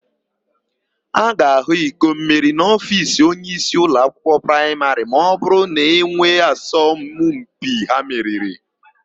A ga-ahụ ikommeri n'ofiisi onyeisi ụlọakwụkwọ praịmarị ma ọbụrụ na e nwere asọmpi ha meriri.